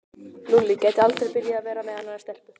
Lúlli gæti aldrei byrjað að vera með annarri stelpu.